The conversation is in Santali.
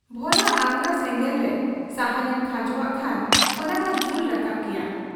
ᱵᱷᱚᱨᱟ ᱟᱝᱜᱽᱨᱟ ᱥᱮᱸᱜᱮᱞᱨᱮ ᱥᱟᱦᱟᱱᱮᱢ ᱠᱷᱟᱸᱡᱚᱣᱟᱜ ᱠᱷᱟᱱ ᱚᱱᱟᱢᱟ ᱡᱩᱞ ᱨᱟᱠᱟᱵ ᱜᱮᱭᱟ ᱾